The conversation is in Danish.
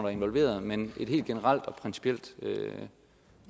er involveret men et helt generelt og principielt